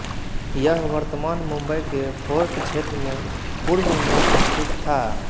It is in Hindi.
यह वर्तमान मुंबई के फोर्ट क्षेत्र में पूर्व में स्थित था